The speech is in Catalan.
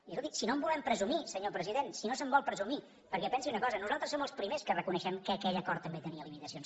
i escolti si no en volem presumir senyor president si no se’n vol presumir perquè pensi una cosa nosaltres som els primers que reconeixem que aquell acord també tenia limitacions